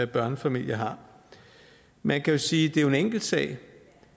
børnefamilier har man kan jo sige at det er en enkel sag